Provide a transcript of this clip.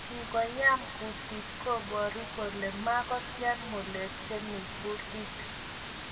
Ngoyam kutiit kobaru kolee makotyaa ng'ulek chemii kutiit